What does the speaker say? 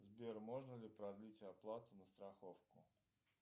сбер можно ли продлить оплату на страховку